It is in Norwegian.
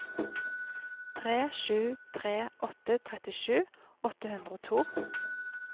tre sju tre åtte trettisju åtte hundre og to